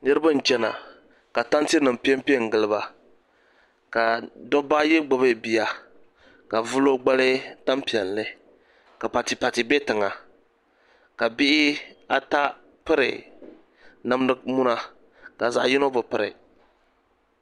Niriba n chɛna ka tanti nim pɛ n pɛ ngiliba ka dabba ayi gbubi bia ka bi vili o gbali tani piɛlli ka batibati bɛ tiŋa ka bihi ata piri namdi muna ka zaɣi yino bi piri.